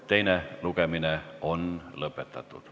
Teine lugemine on lõppenud.